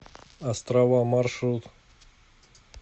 острова маршрут